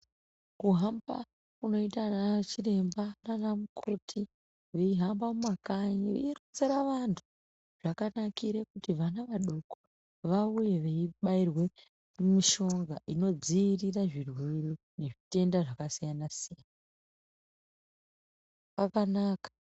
Kuhamba kunoita ana chiremba naana mukoti veihamba mumakanyi veironzera vantu zvakanakire kuti vana vadoko vauye veibairwe mishonga inodziirira zvirwere nezvitenda zvakasiyanasiyana, kwakanaka.